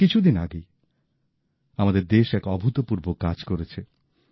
এই কিছু দিন আগেই আমাদের দেশ এক অভূতপূর্ব কাজ করেছে